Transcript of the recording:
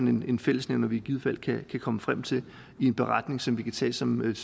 en fællesnævner vi i givet fald kan komme frem til i en beretning som vi kan tage som et